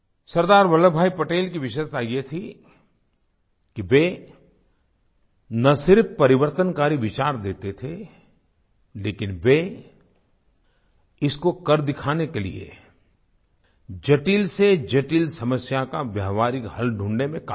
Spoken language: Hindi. सरदार वल्लभ भाई पटेल की विशेषता ये थी कि वे न सिर्फ़ परिवर्तनकारी विचार देते थे लेकिन वे इसको कर दिखाने के लिए जटिलसेजटिल समस्या का व्यावहारिक हल ढूंढने में क़ाबिल थे